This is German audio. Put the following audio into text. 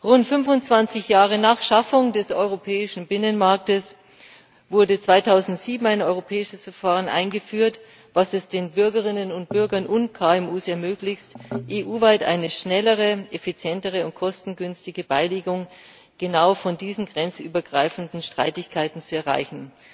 Rund 25 Jahre nach Schaffung des europäischen Binnenmarkts wurde 2007 ein europäisches Verfahren eingeführt, das es den Bürgerinnen und Bürgern und KMU ermöglicht, EU weit eine schnellere, effizientere und kostengünstige Beilegung genau dieser grenzübergreifenden Streitigkeiten zu erreichen.